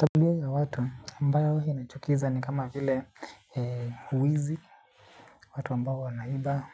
Tabia ya watu ambayo inachukiza ni kama vile uwizi. Watu ambao wanaiba